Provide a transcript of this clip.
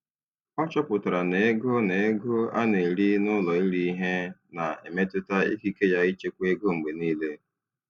Ọ chọpụtara na ego na ego a na-eri n'ụlọ iri ihe na-emetụta ikike ya ịchekwa ego mgbe niile.